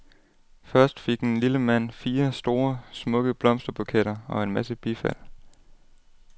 Først fik den lille mand fire, store, smukke blomsterbuketter og en masse bifald.